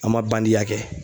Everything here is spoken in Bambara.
An ma bandiya kɛ